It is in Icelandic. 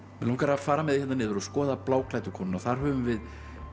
mig langar að fara með þig hérna niður og skoða bláklæddu konuna og þar höfum við